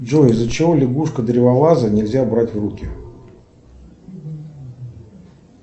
джой из за чего лягушку древолаза нельзя брать в руки